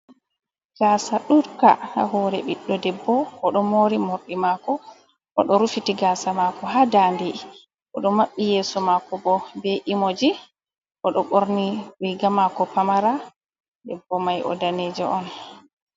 Gaasa ɗuuɗka haa hoore biɗɗo debbo, o ɗo moori moorɗi maako .O ɗo rufiti gaasa maako haa daande, o ɗo maɓɓi yeeso maako bo, be imoji. O ɗo ɓorni riiga maako pamara, debbo may o daneejo on.